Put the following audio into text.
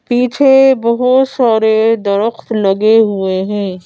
पीछे बहुत सारे दरख्त लगे हुए हैं।